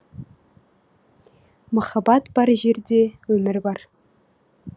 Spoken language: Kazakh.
махаббат бар жерде өмір бар